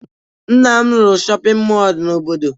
Nna m rụrụ shọpịn mọọ n'obodo